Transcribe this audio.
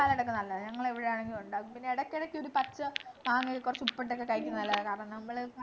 ഒക്കെ നല്ലതാ ഞങ്ങളിവിടെ ആണെങ്കിലൊക്കെ ഉണ്ടാക്കും പിന്നെ ഇടക്കെടയ്ക്കൊരു പച്ച മാങ്ങ കൊറച്ചുപ്പിട്ടൊക്കെ കഴിക്കുന്നത് നല്ലതാ കാരണം നമ്മള്